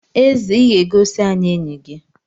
Eze Ị ga-egosi anyị enyi gi?